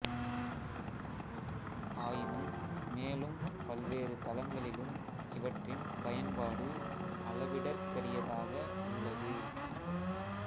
ஆயினும் மேலும் பல்வேறு தளங்களிலும் இவற்றின் பயன்பாடு அளவிடற்கரியதாக உள்ளது